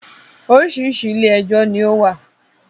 Oríṣiríṣi “ ilé-ẹjọ́” ni ó wà.